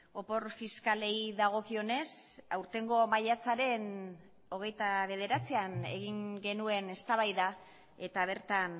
opor fiskalei dagokionez aurtengo maiatzaren hogeita bederatzian egin genuen eztabaida eta bertan